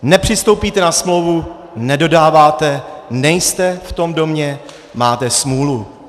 Nepřistoupíte na smlouvu, nedodáváte, nejste v tom domě, máte smůlu.